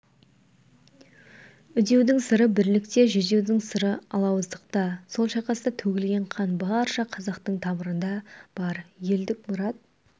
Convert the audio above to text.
үдеудің сыры бірлікте жүдеудің сыры алауыздықта сол шайқаста төгілген қан барша қазақтың тамырында бар елдік мұрат